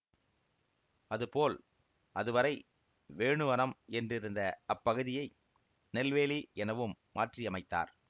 அதுபோல் அதுவரை வேணுவனம் என்றிருந்த அப்பகுதியை நெல்வேலி எனவும் மாற்றியமைத்தார்